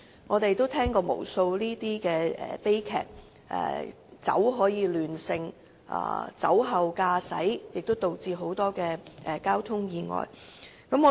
我們也曾聽聞無數此等悲劇，正因為酒能亂性，酒後駕駛會導致許多交通意外發生。